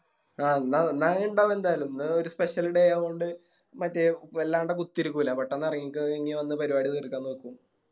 ആഹ് ഇന്ന് ഇന്നാള് ഇണ്ടാവും എന്തായാലും ഇന്ന് ഒര് Special day ആയകൊണ്ട് മറ്റേ വല്ലാണ്ട് കുത്തിരികൂല പെട്ടന്ന് എറങ്ങിക്കോ അഹ് വന്ന് പരിപാടി തീർക്കാൻ നോക്കും